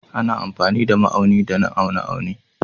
Ana amfani da ma'auni don aune aune